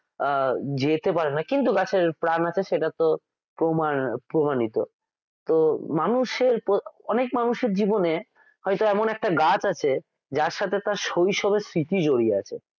আহ যেতে পারে না কিন্তু গাছের প্রাণ আছে সেটা তো প্রমাণিত তো অনেক মানুষের জীবনে হয়তো এমন একটা গাছ আছে যার সাথে তার শৈশবের স্মৃতি জড়িয়ে আছে